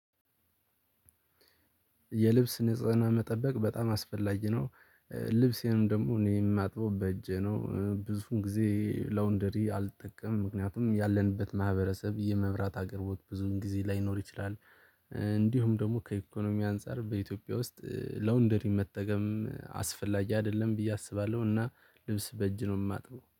የልብስ ንጽህናን መጠበቅ በጣም አስፈላጊ ነው። ልብሴንም ደግሞ እኔ የማጥበው በእጄ ነው ብዙዉን ጊዜ ላውንደሪ አልጠቀምም ምክንያቱም ያለንበት ማህበረሰብ የመብራት አቅርቦት ብዙም ጊዜ ላይኖር ይችላል። እንዲሁም ደግሞ ከኢኮኖሚ አንፃር በኢትዮጵያ ውስጥ ላውንደሪ መጠቀም አስፈላጊ አይደለም ብዬ አስባለሁ እና ልብስ በእጅ ነው የማጥበው